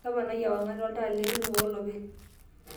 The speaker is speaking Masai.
toponai ewang'an oltaa lerumu olopeny